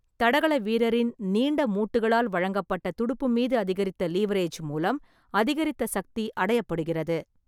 தடகள வீரரின் நீண்ட மூட்டுகளால் வழங்கப்பட்ட துடுப்பு மீது அதிகரித்த லீவரேஜ் மூலம் அதிகரித்த சக்தி அடையப்படுகிறது.